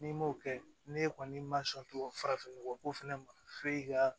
N'i m'o kɛ ne kɔni ma sɔn farafin nɔgɔ ko fɛnɛ ma f'e ka